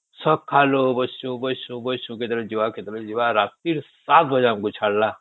ସକାଳୁ ବସିଛୁ ବସିଛୁ କେତେବଳେ ଯିବା କେତେବେଳ ଯିବା ରାତିରୁ ୭ ବାଜେ ଆମକୁ ଛାଡିଲା